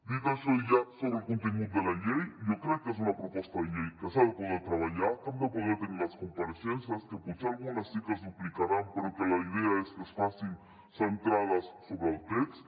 dit això ja sobre el contingut de la llei jo crec que és una proposta de llei que s’ha de poder treballar que hem de poder tenir les compareixences que potser algunes sí que es duplicaran però que la idea és que es facin centrades sobre el text